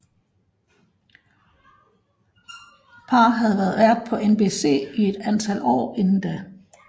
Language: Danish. Paar havde været vært på NBC i et antal år inden da